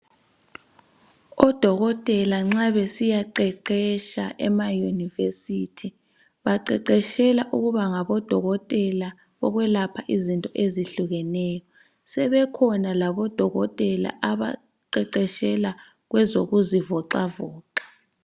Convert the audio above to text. Odokotela nxa besiyaqeqeqetsha ema university baqeqetshela ukuba ngabodokotela bokwelapha izinto ezehlukeneyo , sebekhona labodokotela abaqeqetshela kwezokuzivoxavoxa